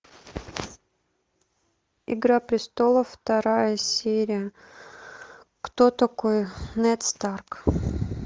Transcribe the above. игра престолов вторая серия кто такой нед старк